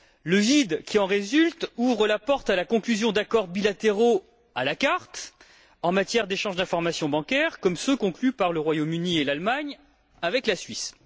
Le vide qui en résulte ouvre la porte à la conclusion d'accords bilatéraux à la carte en matière d'échanges d'informations bancaires, comme ceux conclus par le Royaume Uni et l'Allemagne avec la Suisse.